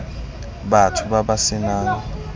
batho ba ba se nang